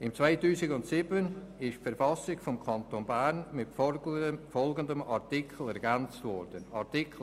Im Jahr 2007 wurde die Verfassung des Kantons Bern (KV) mit folgendem Artikel 110a ergänzt: